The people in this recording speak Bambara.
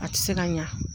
A tɛ se ka ɲa